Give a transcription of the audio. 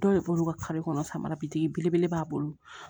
Dɔw de b'olu ka kɔnɔ samara bi digi belebele b'a bolo